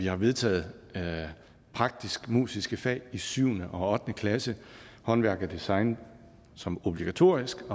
har vedtaget praktisk musiske fag i syvende og ottende klasse håndværk og design som obligatoriske